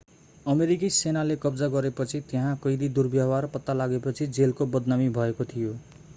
अमेरिकी सेनाले कब्जा गरेपछि त्यहाँ कैदी दुर्व्यवहार पत्ता लागेपछि जेलको बदनामी भएको थियो